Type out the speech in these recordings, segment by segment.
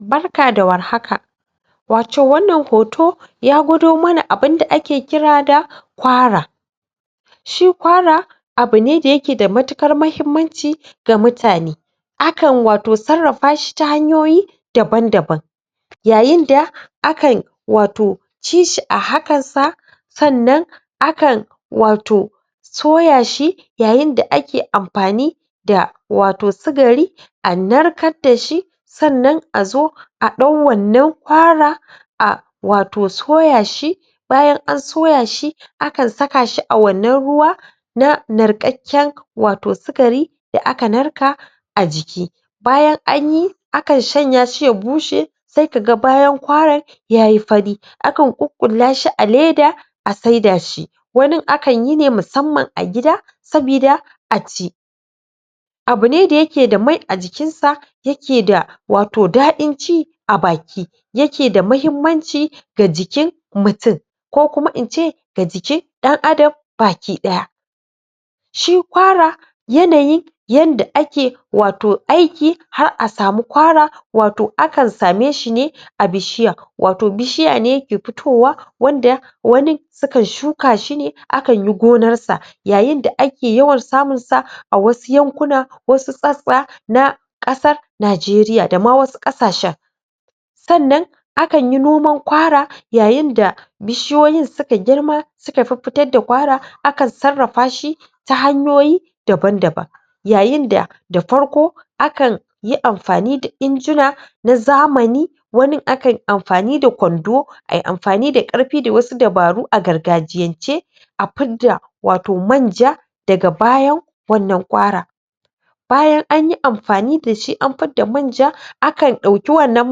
Barka da warhaka wato wannan hoto ya gwado mana abinda ake kira da kwara shi kwara abune da yake da matuƙar mahimmanci ga mutane akan wato sarrafashi ta hanyoyi daban-daban yayinda akan wato cishi a hakansa sannan akan wato soyashi yayinda ake amfani da wato sigari a narkar dashi sannan a zo a ɗau wannan kwara a wato soyashi bayan an soyashi akan sakashi a wannan ruwa na narkakken wato sikari da aka narka a jiki bayan an yi akan shanyashi ya bushe sai ka ga bayan kwarar ya yi fari akan ƙuƙƙullashi a leda a saidashi wanin akanyi ne musamman a gida sabida a ci abune da yake da mai a jikinsa yake da wato daɗin ci a baki yake da mahimmanci ga jikin mutun ko kuma in ce ga jikin ɗan-adam baki-ɗaya shi kwara yanayin yanda ake wato aiki har a samu kwara wato akan sameshi ne a bishiya wato bishiya ne ke fitowa wanda wanin sukan shukashi ne akan yi gonarsa yayinda akae yawan samunsa a wasu yankuna wasu sassa na ƙasar najeriya da ma wasu ƙasashen sannan akan yi noman kwara yayinda bishiyoyin suka girma suka fiffitar da kwara akan sarrafashi ta hanyoyi daban-daban yayinda da farko akan yi amfani da injuna na zamani wanin akan amfani da kwando a yi amfani da ƙarfi da wasu dabaru a gargajiyance a fidda wato manja daga bayan wannan kwara bayan an yi amfani dashi an fidda manja akan ɗauki wannan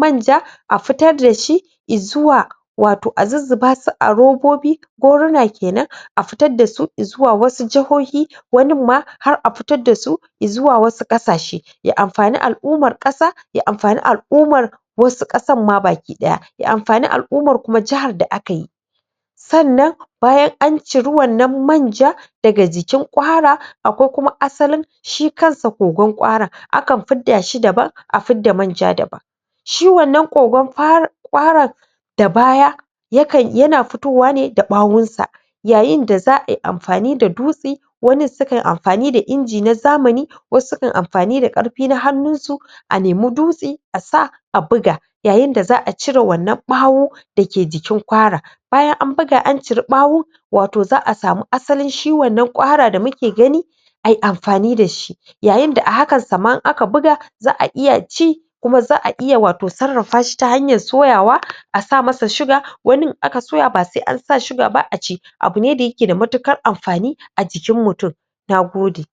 manja a fitar dashi izuwa wato a zuzzubasu a robobi goruna kenan a fitar dasu izuwa wasu jihohi waninma har a fitar da su izuwa wasu ƙasashe ya mafani al'umar ƙasa ya amfani al'umar wasu ƙasanma baki-ɗaya ya amfani al'umar kuma jahar da akayi sannan bayan an ciri wannan manja daga jikin ƙwara akwai kuma asalin shi kansa ƙogon ƙwaran akan fiddashi daban a fidda manja daban shi wannan ƙogon? ƙwaran da baya yakan yana fitowane da ɓawonsa yayinda za a yi amfani da dutse wanin sukayi amfani da inji na zamani wasu sukanyi amfani da ƙarfi na hannunsu a nemi dutse a sa a buga yayinda za'a cire wannan ɓawo dake jikin kwara bayan an buga an ciri ɓawon wato za a samu asalin shi wannan ƙwara da muke gani a yi amfani da shi yayinda a hakansa ma in aka buga za a iya ci kuma za a iya wato sarrafashi ta hanyar soyawa a sa masa shuga wanin aka soya ba sai an sa shuga ba aci abune da yake da matuƙar amfani a jikin mutun na gode.